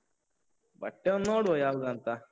ಬಟ್ಟೆ ಒಂದ್ ನೋಡುವ ಯಾವ್ದಂತಾ?